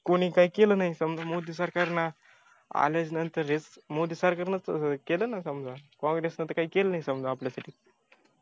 कोणी काय केल नाही समजा मोदी सरकारन आल्यानंतर मोदी सरकारनं केलं ना समजा काँग्रेसन तर काही केल नाही समजा आपल्यासाठी